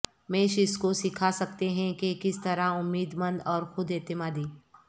میش اس کو سکھا سکتے ہیں کہ کس طرح امید مند اور خود اعتمادی